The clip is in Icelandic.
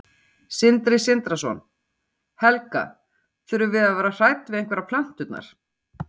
Sindri Sindrason: Helga, þurfum við að vera hrædd við einhverjar plönturnar?